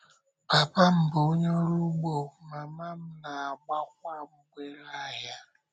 Pápa m bụ onye ọrụ ugbo, mámá m na-agbákwa mgbèrè ahịa.